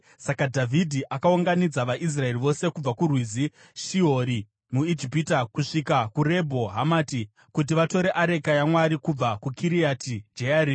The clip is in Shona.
Saka Dhavhidhi akaunganidza vaIsraeri vose kubva kuRwizi Shihori muIjipiti kusvika kuRebho Hamati, kuti vatore areka yaMwari kubva kuKiriati Jearimi.